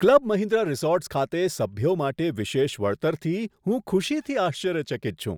Club Mahindra resorts ખાતે સભ્યો માટે વિશેષ વળતરથી હું ખુશીથી આશ્ચર્યચકિત છું.